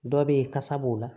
Dɔ be yen kasa b'o la